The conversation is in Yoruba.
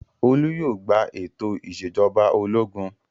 Olú yóò gba ètò ìṣèjọba ológun!